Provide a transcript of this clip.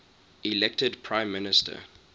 elected prime minister